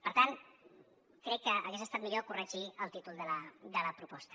per tant crec que hagués estat millor corregir el títol de la proposta